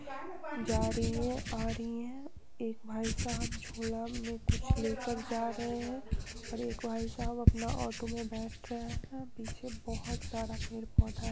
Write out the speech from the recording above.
जा रही है आ रही है एक भाईसाहब झोला में कुछ लेकर जा रहे हैं और एक भाईसाहब अपना ऑटो में बैठ रहा हैं पीछे बहुत सारा पेड़-पौधा है।